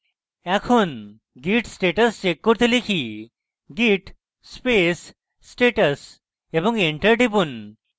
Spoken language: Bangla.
এখন git status check করতে লিখি git space status এবং enter টিপুন